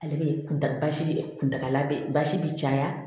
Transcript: Ale bɛ kuntaga basi kuntagala bɛ basi bɛ caya